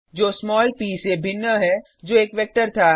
जो स्मॉल प से भिन्न है जो एक वेक्टर था